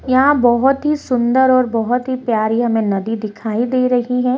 यहाँ बहुत ही सुन्दर और बहुत ही प्यारी हमें नदी दिखाई दे रही है |